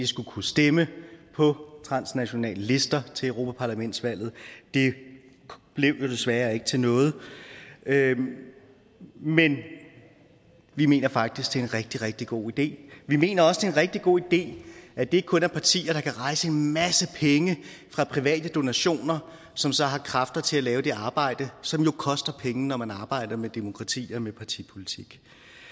skulle kunne stemme på transnationale lister til europaparlamentsvalget det blev desværre ikke til noget men vi mener faktisk det er en rigtig rigtig god idé vi mener også en rigtig god idé at det ikke kun er partier der kan rejse en masse penge fra private donationer som så har kræfter til at lave det arbejde som jo koster penge når man arbejder med demokrati og med partipolitik